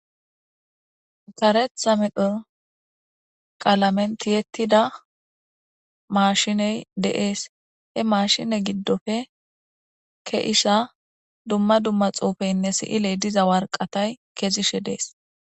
Kareththa medhdho qallamera tiyetida mashshiney dess ha mashshine giddoppe dumma dumma xuufey keishshe dess.